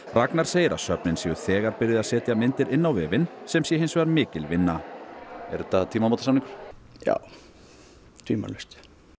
Ragnar segir að söfnin séu þegar byrjuð að setja myndir inn á vefinn sem sé hins vegar mikil vinna er þetta tímamótasamningur já tvímælalaust